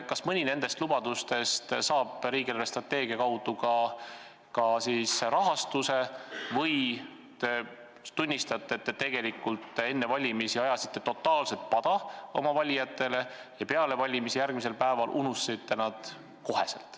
Kas mõni nendest lubadustest saab riigi eelarvestrateegia kaudu ka rahastuse või te tunnistate, et te ajasite enne valimisi oma valijatele totaalset pada ja peale valimisi unustasite nad kohe, järgmisel päeval?